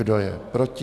Kdo je proti?